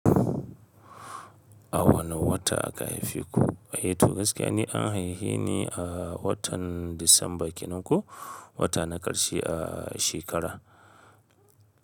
A wane wata aka haife ku? Eh to gaskiya ni an haife ni a watan Disamba kenan ko wata na ƙarshe a shekara.